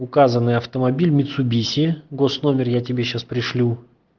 указанный автомобиль митсубиси госномер я тебе сейчас пришлю